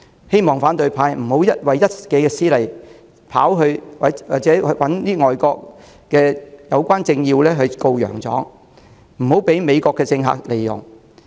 還望反對派不要為一己私利，跑到海外找相關政要"告洋狀"，以免被美國政客利用。